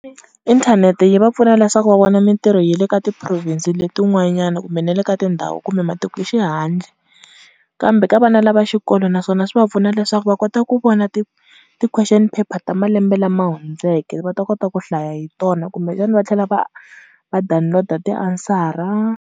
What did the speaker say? Inthanete yi va pfuna leswaku va vona mintirho ya le ka ti province letin'wanyana kumbe na le ka tindhawu kumbe matiko xihandle, kambe ka vana lava xikolo naswona swi va pfuna leswaku va kota ku vona ti ti-question paper ta malembe lama hundzeke va ta kota ku hlaya hi tona kumbe xana va tlhela va va download-a tiansara.